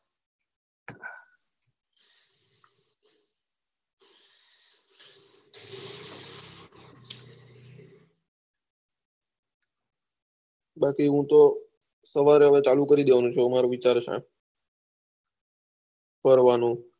બાકી હૂતો સવારે ચાલુ કરી દેવાનો કરવાનું